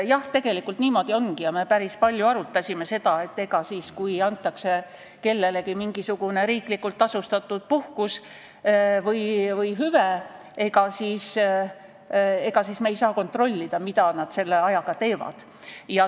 Jah, tegelikult niimoodi ongi ja me päris palju arutasime seda, et ega siis, kui kellelegi antakse mingisugune riiklikult tasustatud puhkus või hüve, me ei saa kontrollida, mida ta sellega teeb.